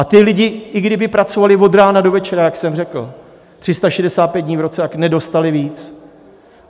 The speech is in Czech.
A ti lidé, i kdyby pracovali od rána do večera, jak jsem řekl, 365 dní v roce, tak nedostali víc.